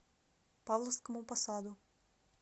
павловскому посаду